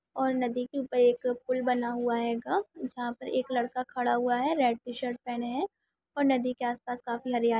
और नदी के ऊपर एक फूल बना हुआ है गा जहां पर एक लड़का खड़ा हुआ है रेड शर्ट पहने हैं और नदी के आसपास काफी हरियाली--